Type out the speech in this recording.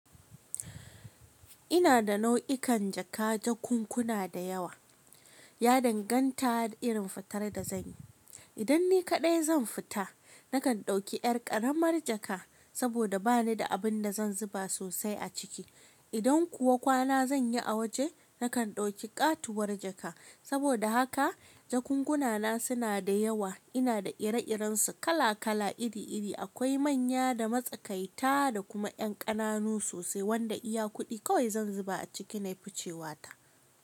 Ina da nau'ikan jaka jakunkuna da yawa, ya danganta da irin fitar da zanyi. Idan ni kaɗai zan fita, nakan ɗauki yar ƙaramar jaka saboda bani da abun da zan zuba sosai a ciki. Idan kuwa kwana zanyi a waje, nakan ɗauki ƙatuwar jaka. Saboda haka jakunkunana suna da yawa. Ina da ire-irensu, kala-kala, iri-iri. Akwai manya da matsakaita da kuma yan ƙananu sosai wanda iya kuɗi kawai zan zuba a ciki nayi ficewa ta.